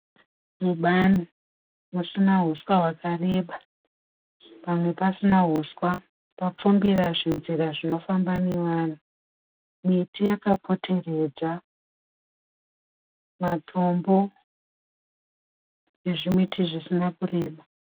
Mubani musina huswa hwakareba. Pamwe pasina huswa papfumbira zvinzira zvinofamba nevanhu. Miti yakapoteredza, matombo nezvimiti zvisina kureba.